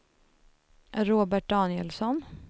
Robert Danielsson